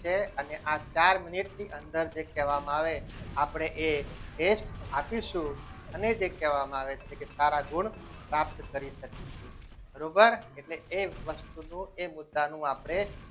છે અને આ ચાર મિનિટની અંદર જે કહેવામાં આવે આપણે એ test આપીશું અને જે કહેવામાં આવે છે કે સારા ગુણ પ્રાપ્ત કરી શકીશું બરોબર એટલે એ વસ્તુનું એ મુદ્દા નું આપણે